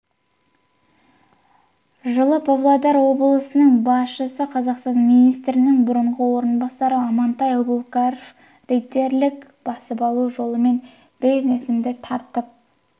жылы павлодар облысының басшысы қазақстан министрінің бұрынғы орынбасары амантай әубәкіров рейдерлік басып алу жолымен бизнесімді тартып